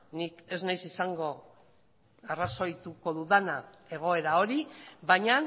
ni ez naiz izango arrazoituko dudana egoera hori baina